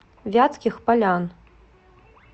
вятских полян